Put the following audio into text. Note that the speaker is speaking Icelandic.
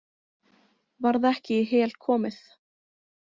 Varð ekki í Hel komið.